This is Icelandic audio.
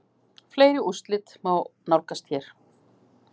Fleiri úrslit má nálgast hér